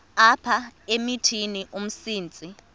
apha emithini umsintsi